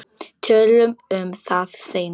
Tölum um það seinna.